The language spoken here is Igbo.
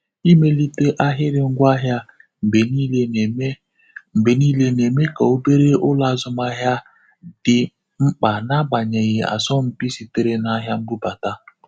Imelite ahịrị ngwaahịa mgbe niile na-eme mgbe niile na-eme ka obere ụlọ azụmahịa dị mkpa n'agbanyeghị asọmpi sitere na ahịa mbụbata.